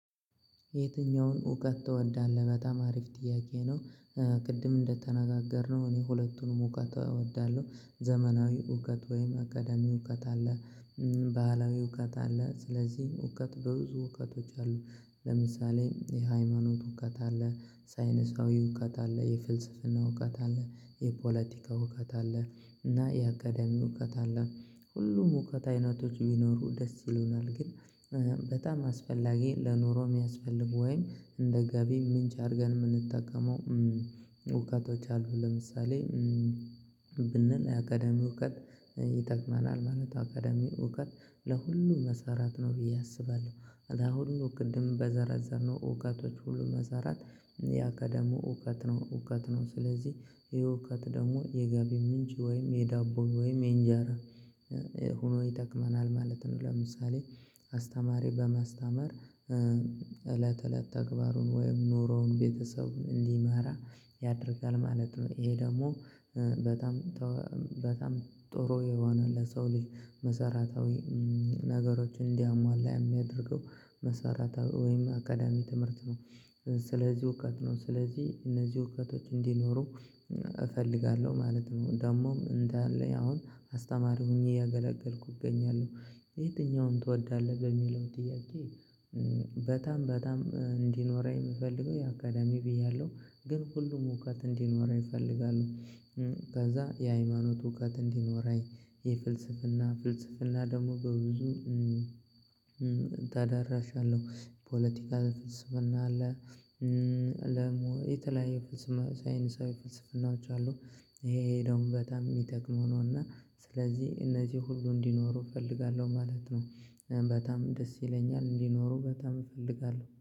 የትኛውን እውቀት ትወዳለህ? በጣም አሪፍ ጥያቄ ነው ቅድም እንደተነጋገርነው እኔ ሁለቱንም እውቀት እወዳለሁ ዘመናዊ እውቀት ወይም አካዳሚ እውቀት አለ ባህላዊ እውቀት አለ ስለዚህ እውቀት በብዙ እውቀቶች አሉ ለምሳሌ የሃይማኖት እውቀት አለ ሳይነሳዊ እውቀት አለ የፍልስፍና እውቀት አለ የፖለቲካ እውቀት አለ እና የአካዳሚ እውቀት አለ ሁሉም እውቀት አይነቶች ቢኖሩ ደስ ይለኛል ግን በጣም አስፈላጊ ለኑሮ የሚያስፈልጉ ወይም እንደ ጋቢ ምንጭ አድርገን የምንጠቀመው እውቀቶች አሉ ለምሳሌ ብንል የአካዳሚ እውቀት ይጠቅመናል ማለት አካዳሚው እውቀት ለሁሉም መሰራት ነው ብዬ አስባለሁ አለ ሁሉ ቅድም በዘረዘርነው እውቀቶች ሁሉ መሰራት የአካዳሚ እውቀት ነው እውቀት ነው ስለዚህ ይሄ እውቀት ደግሞ የገቢ ምንጭ ወይም የዳቦ ወይም የእንጀራ ይጠቅመናል ማለት ነው ለምሳሌ አስተማሪ በማስተማር እለት እለት ተግባሩን ወይም ኖሮውን ቤተሰቡን እንዲመራ ያደርጋል ማለት ነው ይሄ ደግሞ በጣም በጣም ጥሩ የሆነ ለሰው ልጅ መሰራታዊ ነገሮችን እንዲያሟላ የሚያደርገው መሰረታዊ ወይም አካዳሚ ትምህርት ነው ስለዚህ እውቀት ነው ስለዚህ እነዚህ እውቀቶች እንዲኖሩ እፈልጋለሁ ማለት ነው ደግሞም እንዳለ አሁን አስተማሪ ሆኜ እያገለገልኩ እገኛለሁ የትኛውም ትወዳለህ በሚለው ጥያቄ በጣም በጣም እንዲኖረኝ የምፈልገው የአካዳሚ ብያለሁ ግን ሁሉም እውቀት እንዲኖረኝ እፈልጋለሁ ከዛ የሃይማኖት እውቀት እንዲኖረኝ የፍልስፍና ፍልስፍና ደግሞ በብዙ ተዳራሽ አለው ፖለቲካ ፍልስፍና አለ የተለያየ ሳይንሳዊ ፍልስፍናዎች አሉ ይሄ ደግሞ በጣም የሚጠቅም ነው እና ስለዚህ እነዚህ ሁሉ እንዲኖሩ እፈልጋለሁ ማለት ነው በጣም ደስ ይለኛል እንዲኖሩ በጣም እፈልጋለሁ